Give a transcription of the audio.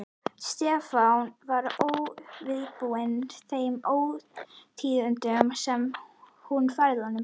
Stefán var óviðbúinn þeim ótíðindum sem hún færði honum.